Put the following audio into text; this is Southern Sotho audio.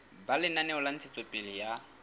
ba lenaneo la ntshetsopele ya